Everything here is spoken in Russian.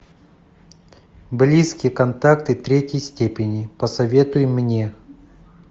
близкие контакты третьей степени посоветуй мне